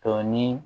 Dɔnni